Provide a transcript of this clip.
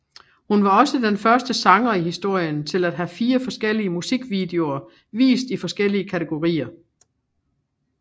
Hun var også den første sanger i historien til at have fire forskellige musikvideoer vist i forskellige kategorier